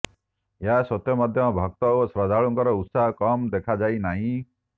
ଏହା ସତ୍ତ୍ୱେ ମଧ୍ୟ ଭକ୍ତ ଓ ଶ୍ରଦ୍ଧାଳୁଙ୍କର ଉତ୍ସାହ କମ ଦେଖାଯାଇ ନାହିଁ